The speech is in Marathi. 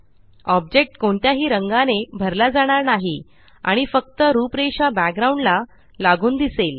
ऑब्जेक्ट कोणत्याही रंगाने भरला जाणार नाही आणि फक्त रूपरेषा बॅकग्राउंड ला लागून दिसेल